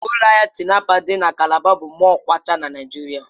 Ụlọ ahịa Tinapa dị na Calabar bụ mọll kwachaa na Naịjirịa.